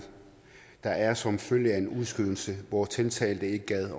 der er som følge af en udskydelse hvor tiltalte ikke gad